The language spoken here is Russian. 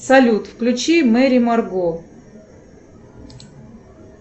салют включи мэри марго